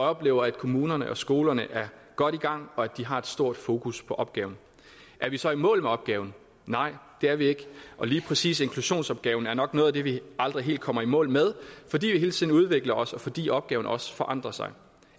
oplever at kommunerne og skolerne er godt i gang og at de har et stort fokus på opgaven er vi så i mål med opgaven nej det er vi ikke og lige præcis inklusionsopgaven er nok noget af det vi aldrig helt kommer i mål med fordi vi hele tiden udvikler os fordi opgaven også forandrer sig